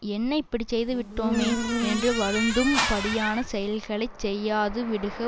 என்ன இப்படி செய்து விட்டோமே என்று வருந்தும் படியான செயல்களை செய்யாது விடுக